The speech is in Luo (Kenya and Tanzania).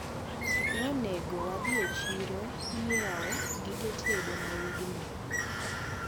Ne onego wadhi e chiro nyiewo gige tedo ma wigni.